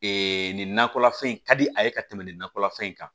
nin nakɔla fɛn in ka di a ye ka tɛmɛ nin nakɔlafɛn in kan